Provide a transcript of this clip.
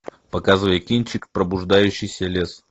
показывай кинчик пробуждающийся лес